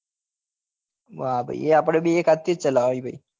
વાહ ભાઈ આપડે બી એક હાથ થી જ ચલાવે એ ભાઈ